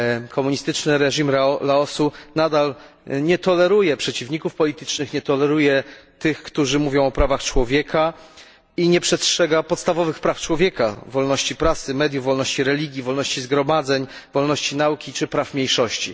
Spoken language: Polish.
Komunistyczny reżim Laosu nadal nie toleruje przeciwników politycznych, nie toleruje tych, którzy mówią o prawach człowieka, i nie przestrzega podstawowych praw człowieka, wolności prasy, mediów, wolności religii, wolności zgromadzeń, wolności nauki czy praw mniejszości.